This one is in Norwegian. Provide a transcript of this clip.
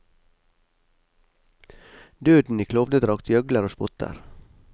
Døden i klovnedrakt gjøgler og spotter.